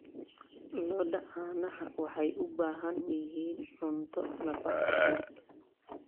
Lo'da caanaha waxay u baahan yihiin cunto nafaqo leh.